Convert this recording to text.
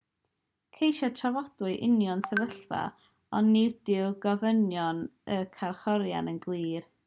ceisiodd trafodwyr unioni'r sefyllfa ond nid yw gofynion y carcharorion yn glir